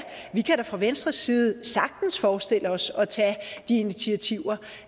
vi kan da fra venstres side sagtens forestille os at tage de initiativer